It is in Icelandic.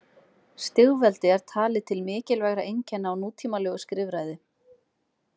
Stigveldi er talið til mikilvægra einkenna á nútímalegu skrifræði.